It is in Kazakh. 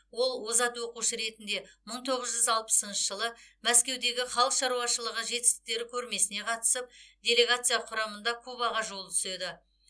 ол озат оқушы ретінде мың тоғыз жүз алпысыншы жылы мәскеудегі халық шаруашылығы жетістіктері көрмесіне қатысып делегация құрамында кубаға жолы түседі